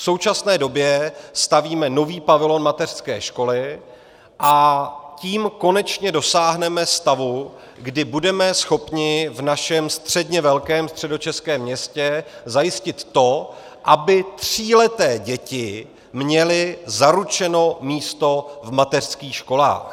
V současné době stavíme nový pavilon mateřské školy a tím konečně dosáhneme stavu, kdy budeme schopni v našem středně velkém středočeském městě zajistit to, aby tříleté děti měly zaručeno místo v mateřských školách.